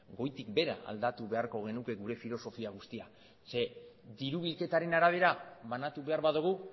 goitik behera aldatu beharko genuke gure filosofia guztia ze diru bilketaren arabera banatu behar badugu